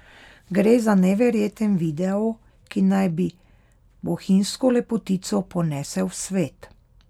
Gre za neverjeten video, ki naj bi bohinjsko lepotico ponesel v svet.